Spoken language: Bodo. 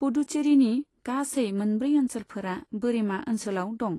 पुडुचेरिनि गासै मोनब्रै ओनसोलफोरा बोरिमा ओनसोलाव दं।